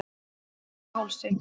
Neðri Hálsi